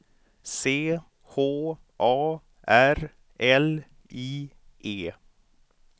C H A R L I E